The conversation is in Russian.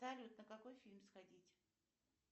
салют на какой фильм сходить